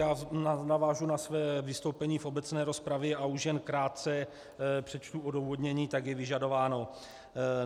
Já navážu na své vystoupení v obecné rozpravě a už jen krátce přečtu odůvodnění, jak je vyžadováno.